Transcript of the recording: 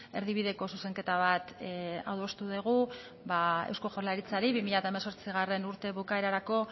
erdibideko zuzenketa bat adostu dugu eusko jaurlaritzari bi mila hemezortzigarrena urte bukaerarako